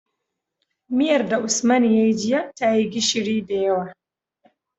Miyar da usman yayi jiya tayi gishiri da yawa